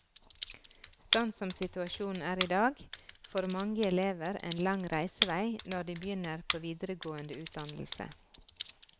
Sånn som situasjonen er i dag, får mange elever en lang reisevei når de begynner på videregående utdannelse.